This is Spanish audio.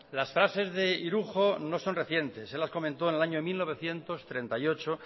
las frases de irujo no son recientes él las comentó en el año mil novecientos treinta y ocho